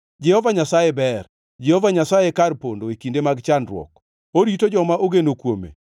Jehova Nyasaye ber, Jehova Nyasaye e kar pondo e kinde mag chandruok, orito joma ogeno kuome.